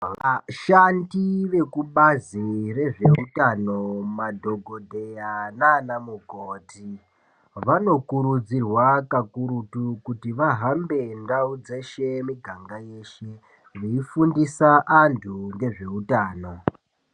Vashandi vekubazi rezvehutano madhogodheya nana mukoti vanokurudzirwa kakurutu kuti vahambe ndau dzeshe muganga yeshe. Veifundisa antu ngezvehutano.